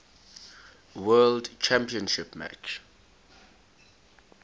world championship match